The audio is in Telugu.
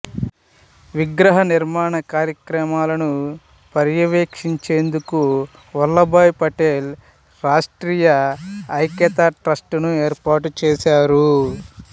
విగ్రహ నిర్మాణ కార్యక్రమాలను పర్యవేక్షించేందుకు వల్లభాయ్ పటేల్ రాష్ట్రీయ ఏకతా ట్రస్ట్ ను ఏర్పాటు చేశారు